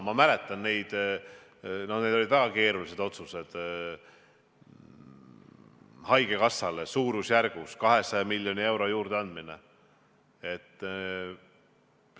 Ma mäletan – need olid väga keerulised otsused – haigekassale suurusjärgus 200 miljoni euro juurdeandmist.